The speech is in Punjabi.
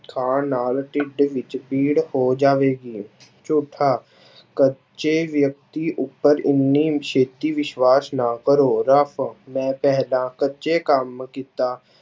ਖਾਣ ਨਾਲ ਢਿੱਡ ਵਿੱਚ ਪੀੜ ਹੋ ਜਾਵੇਗੀ, ਝੂਠਾ ਕੱਚੇ ਵਿਅਕਤੀ ਉੱਪਰ ਓਨੀ ਛੇਤੀ ਵਿਸ਼ਵਾਸ ਨਾ ਕਰੋ, ਰਫ਼ ਮੈਂ ਪਹਿਲਾਂ ਕੱਚੇ ਕੰਮ ਕੀਤਾ